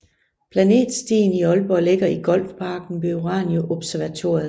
Planetstien i Aalborg ligger i Golfparken ved Urania Observatoriet